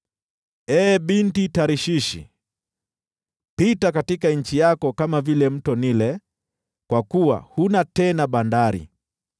Ee Binti Tarshishi, pita katika nchi yako kama vile Mto Naili kwa kuwa huna tena bandari.